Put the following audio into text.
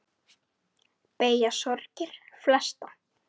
Beygja sorgir flesta.